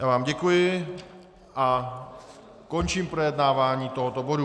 Já vám děkuji a končím projednávání tohoto bodu.